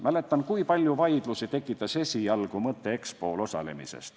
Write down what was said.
Mäletan, kui palju vaidlusi tekitas esialgu mõte EXPO-l osalemisest.